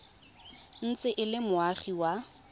ntse e le moagi wa